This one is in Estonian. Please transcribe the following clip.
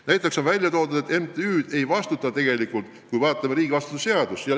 Näiteks on välja toodud, et riigivastutuse seaduse kohaselt MTÜ-del tegelikult vastutust ei ole.